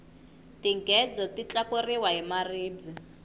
tinghedzo ti tlangiwa hi maribye